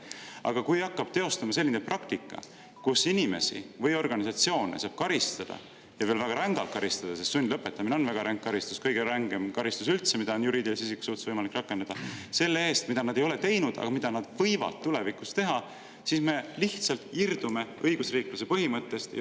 Aga kui hakkab teostuma selline praktika, kus inimesi või organisatsioone saab karistada ja veel väga rängalt karistada – sundlõpetamine on väga ränk karistus, kõige rängem karistus üldse, mida on juriidilise isiku suhtes võimalik rakendada – selle eest, mida nad ei ole teinud, aga mida nad võivad tulevikus teha, siis me lihtsalt irdume õigusriikluse põhimõttest.